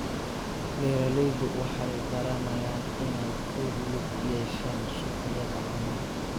Beeraleydu waxay baranayaan inay ku lug yeeshaan suuqyada caanaha.